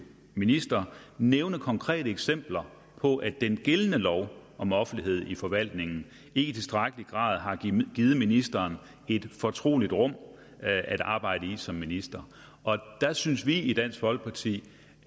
minister nævne konkrete eksempler på at den gældende lov om offentlighed i forvaltningen ikke i tilstrækkelig grad har givet ministeren et fortroligt rum at arbejde i som minister der synes vi i dansk folkeparti